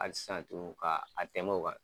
Hali sisan tugun ka a tɛmɛ o kan.